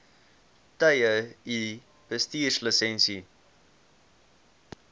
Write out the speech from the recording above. tye u bestuurslisensie